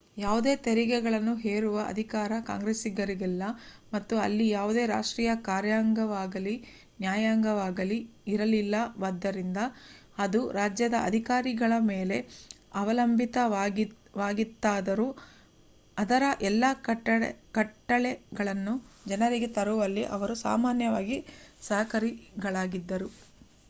ಯಾವುದೇ ತೆರಿಗೆಗಳನ್ನು ಹೇರುವ ಅಧಿಕಾರ ಕಾಂಗ್ರೆಸ್ಸಿಗಿರಲಿಲ್ಲ ಮತ್ತು ಅಲ್ಲಿ ಯಾವುದೇ ರಾಷ್ಟ್ರೀಯ ಕಾರ್ಯಾಂಗವಾಗಲಿ ನ್ಯಾಯಾಂಗವಾಗಲಿ ಇರಲಿಲ್ಲವಾದ್ದರಿಂದ ಅದು ರಾಜ್ಯದ ಅಧಿಕಾರಿಗಳ ಮೇಲೆ ಅವಲಂಬಿತವಾಗಿತ್ತಾದರೂ ಅದರ ಎಲ್ಲ ಕಟ್ಟಳೆಗಳನ್ನು ಜಾರಿಗೆ ತರುವಲ್ಲಿ ಅವರು ಸಾಮಾನ್ಯವಾಗಿ ಅಸಹಕಾರಿಗಳಾಗಿದ್ದರು